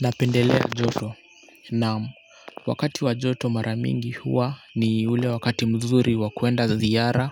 Napendelea joto na wakati wa joto maramingi huwa ni ule wakati mzuri wakuenda ziara